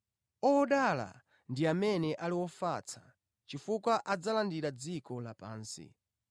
Odala ndi amene ali ofatsa, chifukwa adzalandira dziko lapansi.